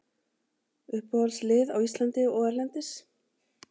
Uppáhaldslið á Íslandi og erlendis?